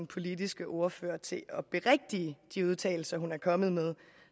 politiske ordfører til at berigtige de udtalelser hun er kommet med